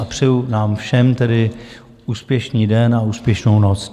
A přeju nám všem tedy úspěšný den a úspěšnou noc.